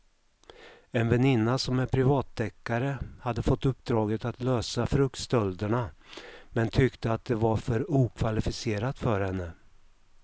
En väninna som är privatdeckare hade fått uppdraget att lösa fruktstölderna men tyckte att det var för okvalificerat för henne.